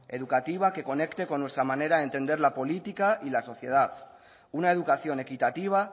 educativa que conecte con nuestra manera de entender la política y la sociedad una educación equitativa